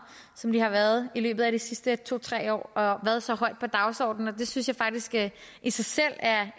som de har været i løbet af de sidste to tre år og været så højt på dagsordenen og det synes jeg faktisk i sig selv er